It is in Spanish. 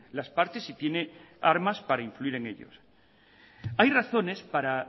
las partes y tiene armas para influir en ellos hay razones para